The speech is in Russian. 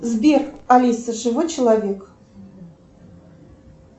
сбер алиса живой человек